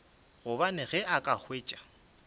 gobane ge a ka hwetša